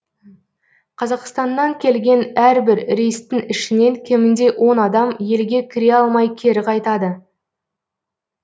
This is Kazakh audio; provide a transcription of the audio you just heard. қазақстаннан келген әрбір рейстің ішінен кемінде он адам елге кіре алмай кері қайтады